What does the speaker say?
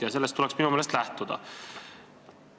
Ja sellest tuleks minu meelest lähtuda.